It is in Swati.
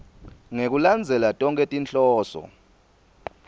ngekulandzela tonkhe tinhloso